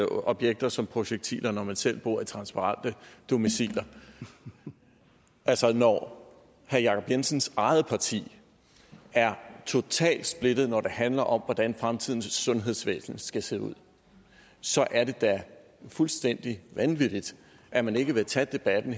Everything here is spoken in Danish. objekter som projektiler når man selv bor i transparente domiciler altså når herre jacob jensens eget parti er totalt splittet når det handler om hvordan fremtidens sundhedsvæsen skal se ud så er det da fuldstændig vanvittigt at man ikke vil tage debatten